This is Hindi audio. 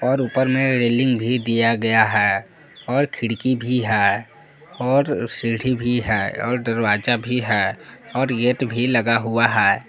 और ऊपर में रेलिंग भी दिया गया है और खिड़की भी है और सीढ़ी भी है और दरवाजा भी है और गेट भी लगा हुआ है।